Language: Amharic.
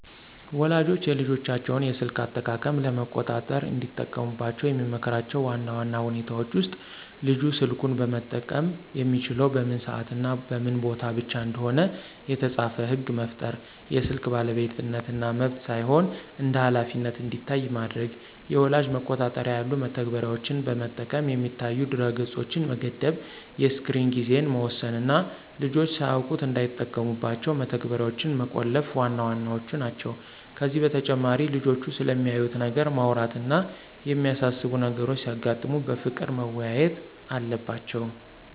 ወላጆች የልጆቻቸውን የስልክ አጠቃቀም ለመቆጣጠር እንዲጠቀሙባቸው የምመክራቸው ዋና ዋና ሁኔታዎች ውስጥ፦ ልጁ ስልኩን መጠቀም የሚችለው በምን ሰዓትና በምን ቦታ ብቻ እንደሆነ የተጻፈ ሕግ መፍጠር፣ የስልክ ባለቤትነት እንደ መብት ሳይሆን እንደ ኃላፊነት እንዲታይ ማድረግ፣ የወላጅ መቆጣጠሪያ ያሉ መተግበሪያዎችን በመጠቀም የሚታዩ ድረ-ገጾችን መገደብ፣ የስክሪን ጊዜን መወሰን እና ልጆች ሳያውቁት እንዳይጠቀሙባቸው መተግበሪያዎችን መቆለፍ ዋና ዋናዎቹ ናቸው። ከዚህ በተጨማሪ ልጆቹ ስለሚያዩት ነገር ማውራት እና የሚያሳስቡ ነገሮች ሲያጋጥሙ በፍቅር መወያየት አለባቸው።